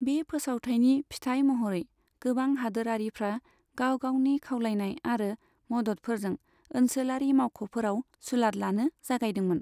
बे फोसावथायनि फिथाइ महरै गोबां हादोरारिफ्रा गाव गावनि खावलायनाय आरो मददफोरजों ओनसोलारि मावख'फोराव सुलाद लानो जागायदोंमोन।